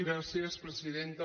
gràcies presidenta